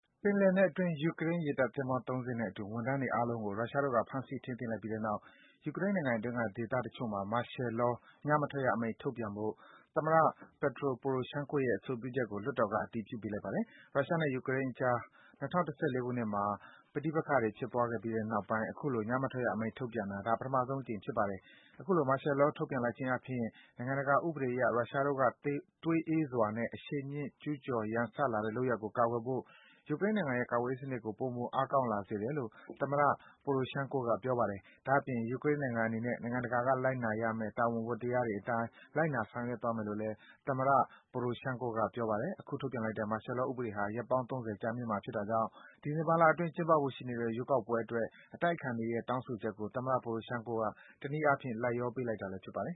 ပင်လယ်နက်အတွင်း ယူကရိန်းရေတပ်သင်္ဘော ၃ စင်းနဲ့အတူ ဝန်ထမ်းတွေ အားလုံးကို ရုရှားတို့ ဖမ်းဆီး ထိန်းသိမ်းလိုက်ပြီးတဲ့နောက် ယူကရိန်းနိုင်ငံအတွင်းက ဒေသတချို့မှာ မာရှယ်လော - ညမထွက်ရအမိန့် ထုတ်ပြန်ဖို့ သမ္မတ Petro Poroshenko ရဲ့ အဆိုပြုချက်ကို လွှတ်တော်က အတည်ပြုပေးလိုက်ပါတယ်။ ရုရှားနဲ့ ယူကရိန်းအကြား ၂၀၁၄ ခုနှစ်မှာ ပဋိပက္ခတွေဖြစ်သွားခဲ့ပြီးတဲ့ နောက်ပိုင်း အခုလို ညမထွက်ရအမိန့်ထုတ်ပြန်တာ ဒါ ပထမဆုံးအကြိမ် ဖြစ်ပါတယ်။ အခုလို မာရှယ်လော ထုတ်ပြန်လိုက်ခြင်းအားဖြင့် နိုင်ငံတကာဥပဒေအရ ရုရှားတို့က သွေးအေးစွာနဲ့ အရှိန်မြင့် ကျူးကျော် ရန်စလာတဲ့ လုပ်ရပ်ကို ကာကွယ်ဖို့ ယူကရိန်းနိုင်ငံရဲ့ ကာကွယ်ရေးစံနစ်ကို ပိုမို အားကောင်းလာစေတယ်လို့ သမ္မတ Poroshenko က ပြောပါတယ်။ ဒါ့အပြင် ယူကရိန်းနိုင်ငံအနေနဲ့ နိုင်ငံတကာက လိုက်နာရမယ့် တာဝန် ဝတ္တရားအတိုင်း လိုက်နာ ဆောင်ရွက်သွားမယ်လို့လည်း သမ္မတ Poroshenko က ပြောပါတယ်။ အခုထုတ်ပြန်လိုက်တဲ့ မာရှယ်လော ဥပဒေဟာ ရက်ပေါင်း ၃၀ ကြာမြင့်မှာဖြစ်တာကြောင့် ဒီဇင်ဘာလအတွင်း ကျင်းပဖို့ ရှိနေတဲ့ ရွေးကောက်ပွဲအတွက် အတိုက်အခံတွေရဲ့ တောင်းဆိုချက်ကို သမ္မတ Poroshenko က တနည်းအားဖြင့် လိုက်လျောပေးလိုက်တာလည်း ဖြစ်ပါတယ်